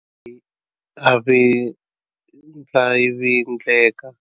A vindlavindleka.